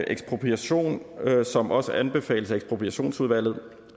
ekspropriation som også anbefales af ekspropriationsudvalget